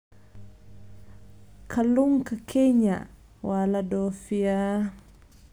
Kalluunka Kenya waa la dhoofiyaa.